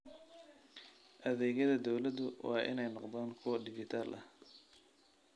Adeegyada dawladdu waa inay noqdaan kuwo dhijitaal ah.